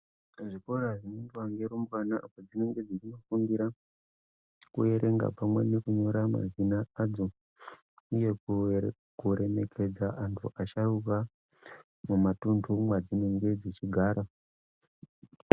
Zvikora zvinoendwa nearumbwana dzinenge dzichifundira kuerenga pamwe nekunyorwa mazina adzo uye kuremekedza antu asharuka mumatunhu mwadzinenge dzichigara.